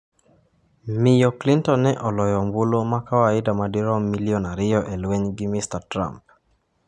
Miyo Clinton ne oloyo ombulu ma kawaida madirom milion 2 e lweny gi Mr Trump.